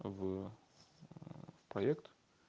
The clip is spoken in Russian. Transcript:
в проект